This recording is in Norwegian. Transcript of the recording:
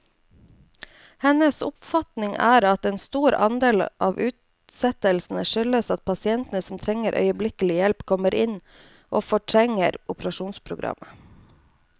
Hennes oppfatning er at en stor andel av utsettelsene skyldes at pasienter som trenger øyeblikkelig hjelp, kommer inn og fortrenger operasjonsprogrammet.